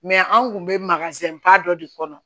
anw kun bɛ dɔ de kɔnɔ